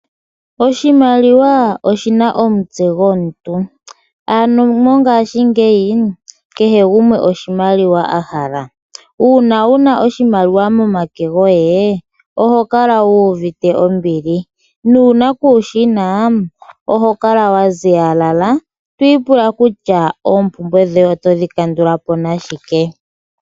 Oshimaliwa oshina omutse gomuntu . Ano mongashiingeyi kehe gumwe oshimaliwa a hala . Uuna wuna oshimaliwa momake goye , oho kala wuuvite ombili , nuuna kuushina oho kala wa ziyalala twiipula kutya oompumbwe dhoye otodhi kandula po nashike .